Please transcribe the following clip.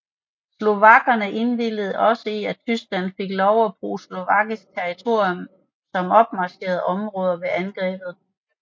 Slovakkerne indvilligede også i at Tyskland fik lov at bruge slovakisk territorium som opmarchområde ved angrebet